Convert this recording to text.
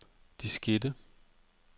diskette